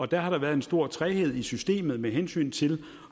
der har der været en stor træghed i systemet med hensyn til